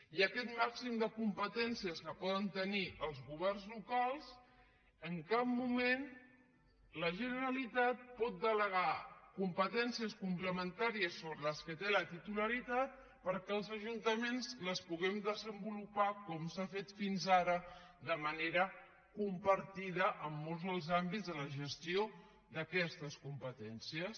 i en aquest màxim de competències que poden tenir els governs locals en cap moment la generalitat pot delegar competències complementàries sobre què té la titularitat perquè els ajuntaments les puguem desenvolupar com s’ha fet fins ara de manera compartida en molts dels àmbits de la gestió d’aquestes competències